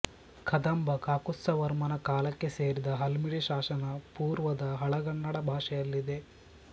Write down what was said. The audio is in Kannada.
ಕದಂಬ ಕಾಕುತ್ಸ್ಥವರ್ಮನ ಕಾಲಕ್ಕೆ ಸೇರಿದ ಹಲ್ಮಿಡಿ ಶಾಸನ ಪುರ್ವದ ಹಳಗನ್ನಡ ಭಾಷೆಯಲ್ಲಿದೆ